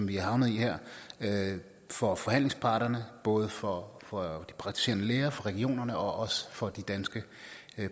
vi er havnet i her for forhandlingsparterne både for for de praktiserende læger for regionerne og også for de danske